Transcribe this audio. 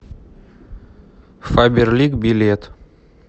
фаберлик билет